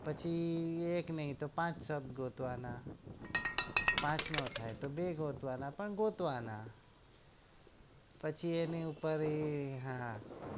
પછી એક નઈ તો પાંચ શબ્દ ગોતવાના પાંચ ના થાય તો બે ગોતવાના પણ ગોતવાના પછી એની ઉપર એ હા